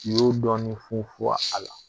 Y'o dɔɔnin funfun a la